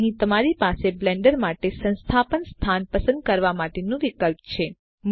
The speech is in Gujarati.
તો અહીં તમારી પાસે બ્લેન્ડર માટે સંસ્થાપન સ્થાન પસંદ કરવા માટેનું વિકલ્પ છે